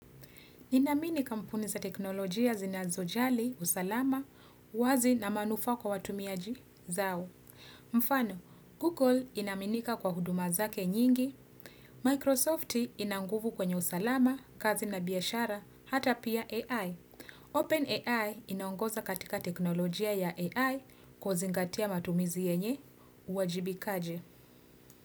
Ninaamini kampuni za teknolojia zinazo jali, usalama, wazi na manufaa kwa watumiaji zao. Mfano, Google inaaminika kwa huduma zake nyingi. Microsoft ina nguvu kwenye usalama, kazi na biashara, hata pia AI. OpenAI inaongoza katika teknolojia ya AI kwa zingatia matumizi yenye uwajibikaji.